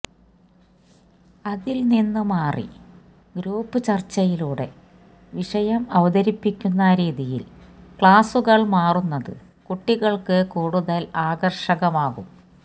അതിൽ നിന്ന് മാറി ഗ്രൂപ്പ് ചര്ച്ചയിലൂടെ വിഷയം അവതരിപ്പിക്കുന്ന രീതിയിൽ ക്ലാസുകൾ മാറുന്നത് കുട്ടികൾക്ക് കൂടുതൽ ആകര്ഷകമാകും